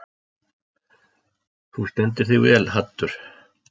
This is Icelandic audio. Þú stendur þig vel, Haddur!